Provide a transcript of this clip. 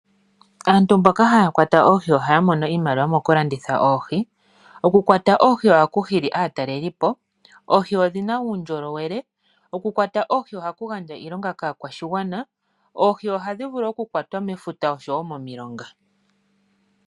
Aantu mboka haya kwata oohi ohaya mono iimaliwa mokulanditha oohi. Oku kwata oohi ohaku hili aatalelipo oohi odhina uundjolowele. Oku kwata oohi ohaku gandja iilongo kaakwashigwana oohi oha dhi vulu oku kwatwa mefuta oshowo momilonga.